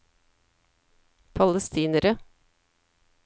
palestinere